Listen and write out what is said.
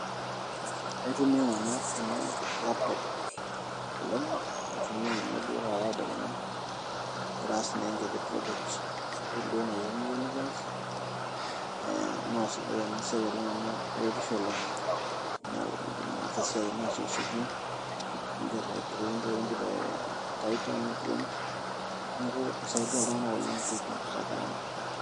Aitumia nanu ena laptop oleng' aitumia ninye duoo tedekenya agira aas naa enkiti project esukuul nayieuni duoo nekias ee naa sidai ena siai oleng' amu eretisho oleng' amu iindim ataasa esiai ino asiekisieki niigerr aiprint entoki nidipa atypa niprint neeku isaidia iltung'anak oleng' pee ipungusa gharama.